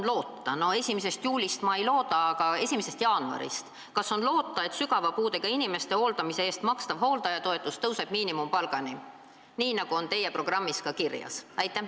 1. juulist ma seda ei looda, aga kas 1. jaanuarist on loota, et sügava puudega inimeste hooldamise eest makstav hooldajatoetus tõuseb miinimumpalgani, nii nagu on teie programmis ka kirjas?